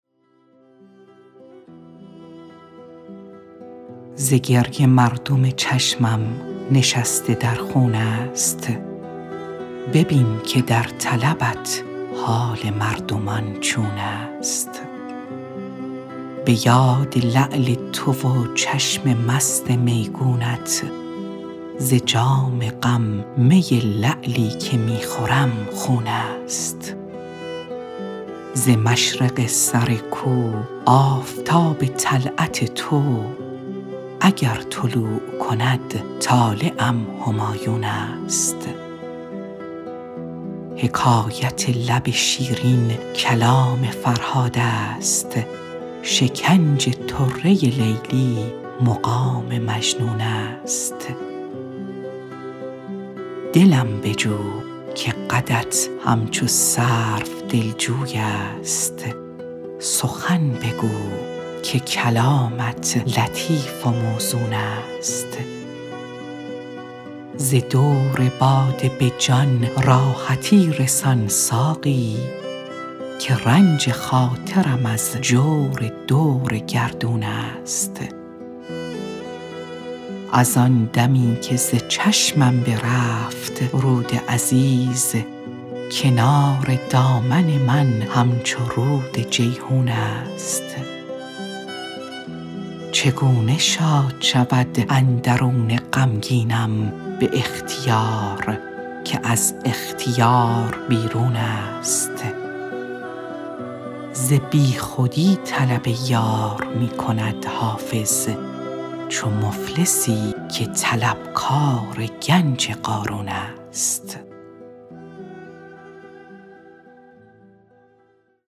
ز گریه مردم چشمم نشسته در خون است ببین که در طلبت حال مردمان چون است به یاد لعل تو و چشم مست میگونت ز جام غم می لعلی که می خورم خون است ز مشرق سر کو آفتاب طلعت تو اگر طلوع کند طالعم همایون است حکایت لب شیرین کلام فرهاد است شکنج طره لیلی مقام مجنون است دلم بجو که قدت همچو سرو دلجوی است سخن بگو که کلامت لطیف و موزون است ز دور باده به جان راحتی رسان ساقی که رنج خاطرم از جور دور گردون است از آن دمی که ز چشمم برفت رود عزیز کنار دامن من همچو رود جیحون است چگونه شاد شود اندرون غمگینم به اختیار که از اختیار بیرون است ز بیخودی طلب یار می کند حافظ چو مفلسی که طلبکار گنج قارون است